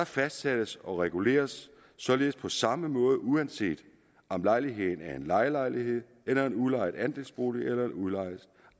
fastsættes og reguleres således på samme måde uanset om lejligheden er en lejelejlighed eller en udlejet andelsbolig eller en udlejet